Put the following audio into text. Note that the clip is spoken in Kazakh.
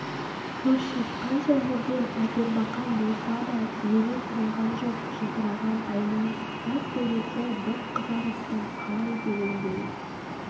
хрущев қанша жерден әпербақан болса да тізеге салған жоқ жылтыраған айна таз төбесі бұрқ қызарып бұл қалай дегендей